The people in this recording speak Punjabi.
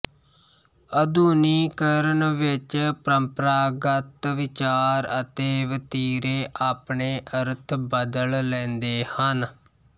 ਆਧੁਨਿਕੀਕਰਨ ਵਿੱਚ ਪਰੰਪਰਾਗਤ ਵਿਚਾਰ ਅਤੇ ਵਤੀਰੇ ਆਪਣੇ ਅਰਥ ਬਦਲ ਲੈਂਦੇ ਹਨ